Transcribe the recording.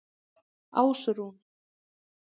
Ásrún